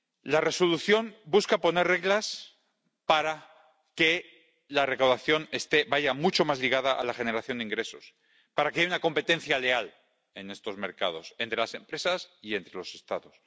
La Resolución busca poner reglas para que la recaudación vaya mucho más ligada a la generación de ingresos, para que haya una competencia leal en estos mercados, entre las empresas y entre los Estados.